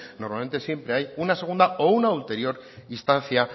normalmente siempre hay una segunda o una ulterior instancia